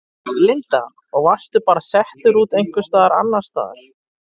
Linda: Og varstu bara settur út einhvers staðar annars staðar?